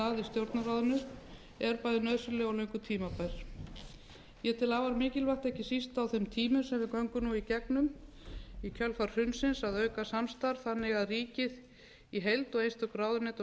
stjórnarráðinu er bæði nauðsynleg og löngu tímabær ég tel afar mikilvægt ekki síst á þeim tímum sem við göngum nú í gegnum í kjölfar hrunsins að auka samstarf þannig að ríkið í heild og einstök ráðuneyti og